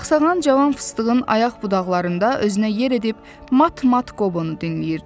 Saxsağan cavan fıstığın ayaq budaqlarında özünə yer edib, mat-mat qobunu dinləyirdi.